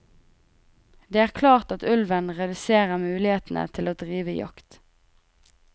Det er klart at ulven reduserer mulighetene til å drive jakt.